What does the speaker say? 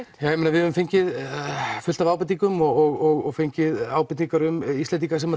við höfum fengið fullt af ábendingum og fengið ábendingar um Íslendinga sem